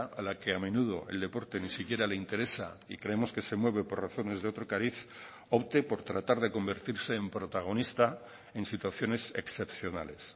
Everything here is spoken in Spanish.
a la que a menudo el deporte ni siquiera le interesa y creemos que se mueve por razones de otro cariz opte por tratar de convertirse en protagonista en situaciones excepcionales